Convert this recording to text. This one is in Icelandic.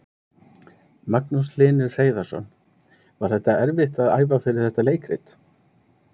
Magnús Hlynur Hreiðarsson: Var þetta erfitt að æfa fyrir þetta leikrit?